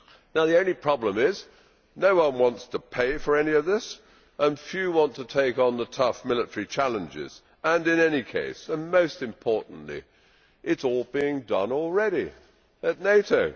Now the only problem is that no one wants to pay for any of this and few want to take on the tough military challenges, and in any case, and most importantly, it is all being done already at NATO.